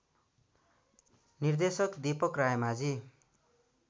निर्देशक दीपक रायमाझी